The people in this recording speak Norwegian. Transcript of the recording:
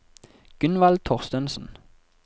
Gunvald Thorstensen